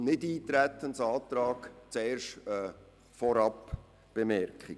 Zum Nichteintretensantrag mache ich eine Vorbemerkung: